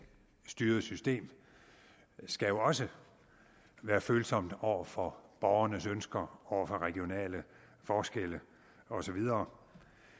styret system skal jo også være følsomt over for borgernes ønsker over for regionale forskelle og så videre